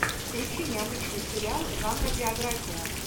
включи необычный сериал жанра биография